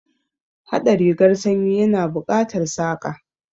Haɗa rigar sanyi ya na buƙatar Saƙa